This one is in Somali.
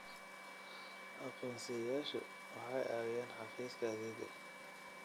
Aqoonsiyeyaashu waxay caawiyaan xafiiska xafiiska adeegga.